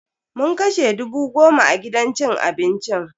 Mun kashe dubu goma a gidan cin abincin.